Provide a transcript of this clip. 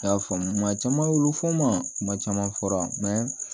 A y'a faamu maa caman y'olu fɔ ma caman fɔra mɛ